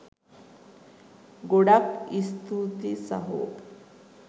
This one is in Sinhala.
ගොඩක් ස්තුතියි සහෝ.